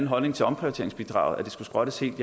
holdning til omprioriteringsbidraget at det skulle skrottes helt